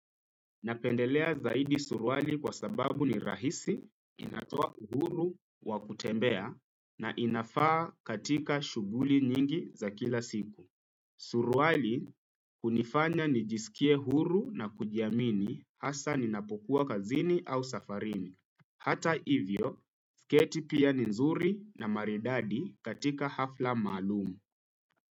Napendelea zaidi suruali kwa sababu ni rahisi, inatoa uhuru, wakutembea, na inafaa katika shughuli nyingi za kila siku. Suruali hunifanya nijisikie huru na kujiamini hasa ninapokuwa kazini au safarini. Hata ivyo, sketi pia ni nzuri na maridadi katika hafla maalum.